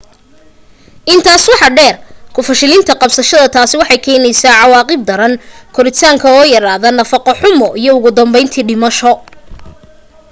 intaas waxa dheer ku fashalinka qabashada taasi waxay keenaysaa cawaaqib daran koritaanka oo yaraada nafaqo xumo iyo ugu danbayntii dhimasho